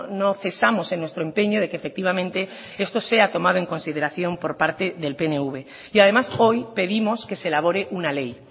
no cesamos en nuestro empeño de que efectivamente esto sea tomado en consideración por parte del pnv y además hoy pedimos que se elabore una ley